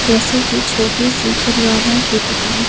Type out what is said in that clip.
जैसे की छोटी सी करियाना की दुकान--